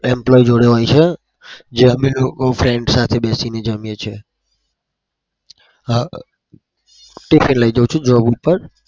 employee જોડે હોય છે. જે અમે લોકો friend સાથે બેસીને જમીએ છીએ. હ tiffin લઇ જઉં છું job ઉપર.